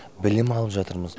білім алып жатырмыз